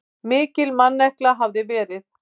Mikil mannekla hafi verið.